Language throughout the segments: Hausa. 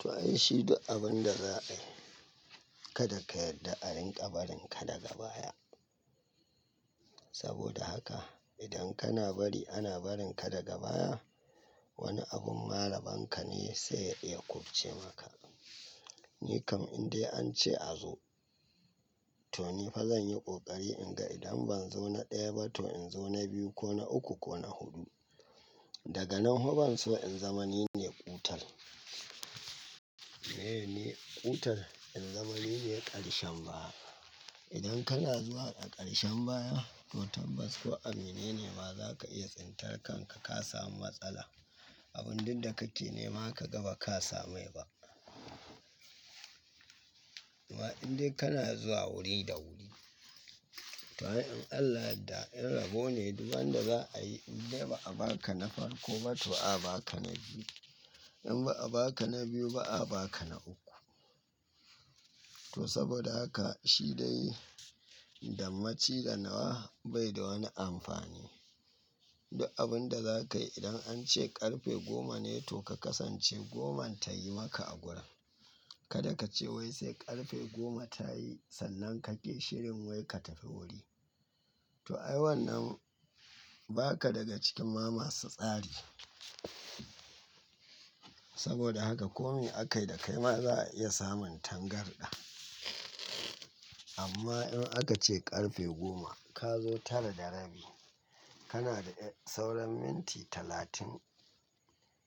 To ai shi abun da za a yi kada ka yarda a rinƙa barin ka daga baya. Saboda haka idan kana bari ana barin ka daga baya wani abun malamanka ne sai ya iya kurce maka. Ni kam in dai an ce a zo to ni fa zan yi ƙoƙari in ga idan ban zo na ɗaya ba to in zo na biyu ko na uku ko na hudu. Daga nan fa ban so in zama nine ƙutar. Nine ƙutar in zama nine ƙarshen baya. Idan kana zuwa a ƙarshen baya to tabbas ko abin menene za ka iya tsintarkar kanka ka samu matsala. Abun ɗin da ka tina ma ka ga ba ka same ba. Wa in dai kana zuwa wuri da wuri to ai. In Allah da in rabo ne duk wanda za a yi in dai ba a ba ka na farko ba to ba a ba ka na biyu. In ba a ba ka na biyu ba a ba ka na uku. To saboda haka shi dai damaci ganawa bai da wani amfani. Duk abun da za ka yi idan an ce ƙarfe goma ne to ka kasance goman tayi maka a gurin. Kada ka ce wai sai ƙarfe goma ta yi sannan ka ƙi shirin wai ka tafi wuri. To ai wannan ba ka daga cikin ma masu tsari. Saboda haka kome aka yi da kai ma za a iya samun tangarɗa. Amma in aka ce ƙarfe goma ka zo tara da rabi kana da sauran minti talatin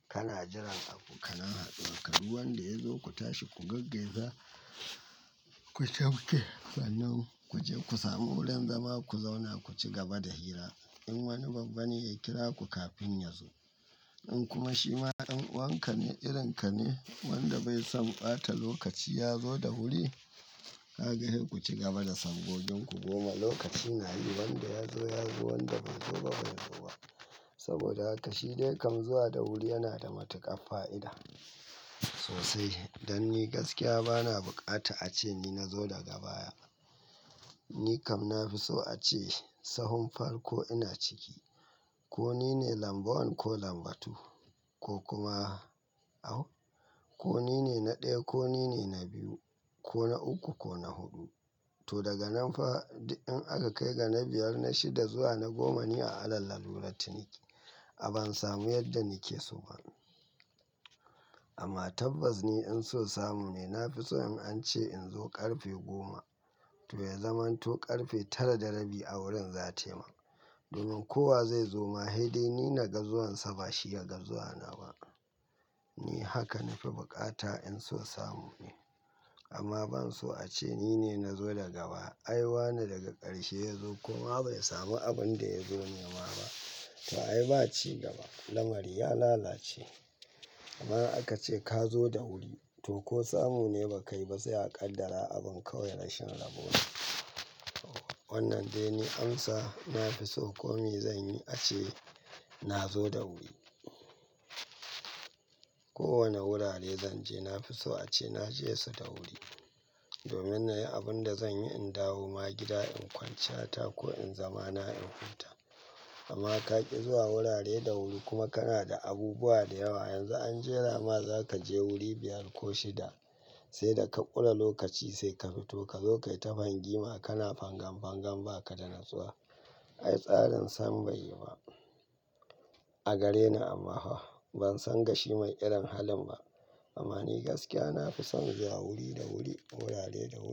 kana jiran abokananka. Duba wanda ya zo ku tashi ku gaggai za ku sauke. Sannan ku je ku sami wurin zama ku zauna ku ci gaba da hira. In wani babban ya kira ku kafin ya zo in kuma shi ma in wanka ne irin ka ne wanda bai son ɓata lokaci ya zo da wuri kaga sai ku ci gaba da son godion ku goma lokaci na yi wanda ya zo ya zo wanda bai zo ba bai zo ba. Saboda haka shi dai kam zuwa da wuri yana da matuƙar fa'ida sosai. Dan ni gaskiya bana buƙata a ce ni na zo daga baya. Ni kam na fi so a ce sahun farko ina ciki ko nine lambu wan ko lambu tu ko kuma ko nine na ɗaya ko nine na biyu ko na uku ko na hudu. To daga nan fa in aka kai ga na biyar na shida zuwa na goma ni a alal laulatin ne a ban samu yadda nike so ba. Amma tabbas ni in so samu me na fi so in an ce in zo ƙarfe goma to ya zamanto ƙarfe tara da rabi a wurin za taima. Domin kowa zai zo ma dai ni na ga zuwansa ba shi ya ga zuwa na ba. Ni haka na fi buƙata in so samu ni. Amma ban so a ce nine na zo daga baya ai wa na daga ƙarshe ya zo kuma bai sami abun da ya zo nema ba. To ai ba ci gaba lamari ya lalace. Amma aka ce ka zo da wuri to ko samu ne ba kayi ba sai a kaddara abun kawai rashin rabo ne. Wannan dai ni amsa na fi so ko mai zanyi ace nazo da wuri. Ko wane wurare zanje na fi so a ce naje su da wuri. Domin na yi abun da zan yi in dawo ma gida in kwanceta ko in zama na in huta. Amma ka ƙi zuwa wurare da wuri kuma kana da abubuwa da yawa yanzu an jera ma za ka je wuri biyar ko shida sai da ka ɓula lokaci sai ka fito ka zo ka yi tafangima kana fangan fangan ba ka da natsuwa. Ai tsarin san bai yi ba a gare ni amma ban san gashi mai irin halin ba. Amma ni gaskiya na fi son zuwa wuri da wuri wurare da wuri.